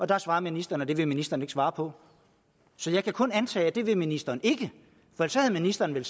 der svarede ministeren at det ville ministeren ikke svare på så jeg kan kun antage at det vil ministeren ikke for så havde ministeren vel